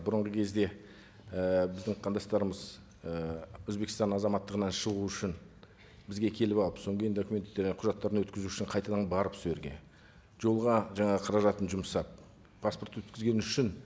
бұрынғы кезде і біздің қандастарымыз ы өзбекстан азаматтығынан шығу үшін бізге келіп алып содан кейін документ і құжаттарын өткізу үшін қайтадан барып сол жерге жолға жаңа қаражатын жұмсап паспорт өткізгені үшін